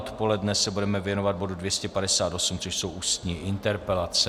Odpoledne se budeme věnovat bodu 258, což jsou ústní interpelace.